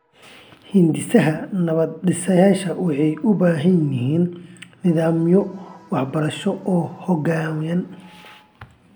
Hindisaha nabad-dhisidda waxay u baahan yihiin nidaamyo waxbarasho oo xooggan.